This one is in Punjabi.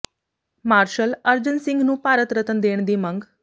ਮਾਰਸ਼ਲ ਅਰਜਨ ਸਿੰਘ ਨੂੰ ਭਾਰਤ ਰਤਨ ਦੇਣ ਦੀ ਮੰਗ